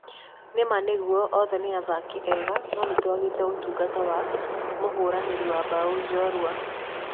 Nĩma nĩgũo othe nĩ athaki ega no nĩtũagĩte ũtungata wa mũhũranĩri wa bao jorua.